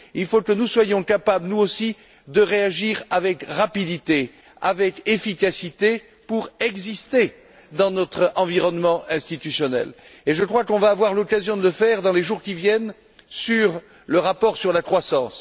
Il faut que nous soyons capables, nous aussi, de réagir avec rapidité, avec efficacité pour exister dans notre environnement institutionnel. Je crois que nous allons avoir l'occasion de le faire dans les jours qui viennent au sujet du rapport sur la croissance.